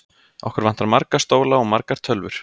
Okkur vantar marga stóla og margar tölvur.